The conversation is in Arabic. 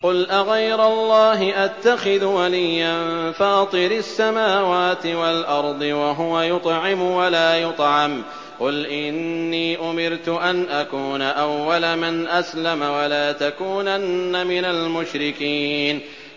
قُلْ أَغَيْرَ اللَّهِ أَتَّخِذُ وَلِيًّا فَاطِرِ السَّمَاوَاتِ وَالْأَرْضِ وَهُوَ يُطْعِمُ وَلَا يُطْعَمُ ۗ قُلْ إِنِّي أُمِرْتُ أَنْ أَكُونَ أَوَّلَ مَنْ أَسْلَمَ ۖ وَلَا تَكُونَنَّ مِنَ الْمُشْرِكِينَ